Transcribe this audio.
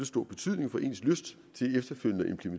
stor betydning for ens lyst